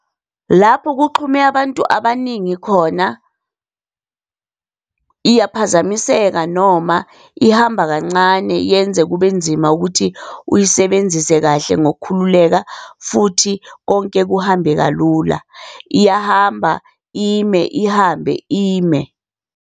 Lapho kuxhume abantu abaningi khona iyaphazamiseka noma ihamba kancane, yenze kube nzima ukuthi uyisebenzise kahle ngokukhululeka futhi konke kuhambe kalula. Iyahamba, ime, ihambe, ime.